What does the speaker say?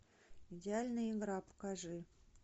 идеальная игра покажи